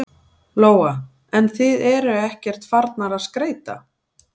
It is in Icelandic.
Lóa: En þið eruð ekkert farnar að skreyta?